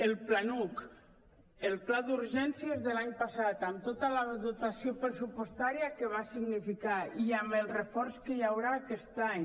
el planuc el pla d’urgències de l’any passat amb tota la dotació pressupostària que va significar i amb el reforç que hi haurà aquest any